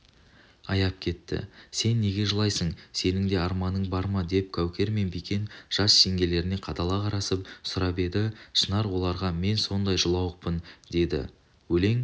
аяп кетті сен неге жылайсың сенің де арманың бар ма деп кәукер мен бикен жас жеңгелеріне қадала қарасып сұрап еді шынар оларғамен сондай жылауықпын деді өлең